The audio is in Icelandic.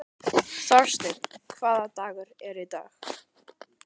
Þorsteina, hvaða dagur er í dag?